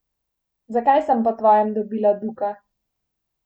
Zakaj sem po tvojem dobila Duka?